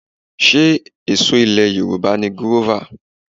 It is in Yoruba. Ṣé èso ilẹ̀ Yorùbá ni gírọ́fà?